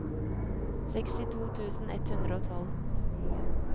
sekstito tusen ett hundre og tolv